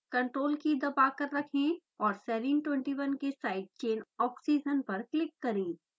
ctrl key दबाकर रखें और serine 21 के साइड चेन ऑक्सीजन पर क्लिक करें